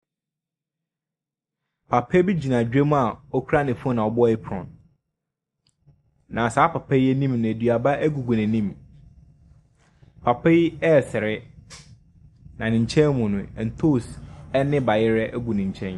Papa bi gyina dwom a okura ne fon abɔ eprɔn. Na saa papa yi enim no eduaba egugu n'enim. Papa yi ɛsere na ne nkyɛn mu no ɛntose ɛne bayerɛ egu ne nkyɛn.